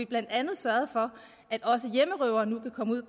blandt andet sørgede for at også hjemmerøvere nu kan komme ud